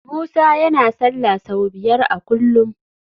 Musa yana sallah sau biyar a kullum